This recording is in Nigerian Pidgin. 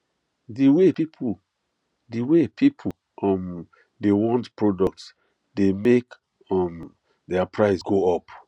the way people the way people um dey want product dey make um their price go up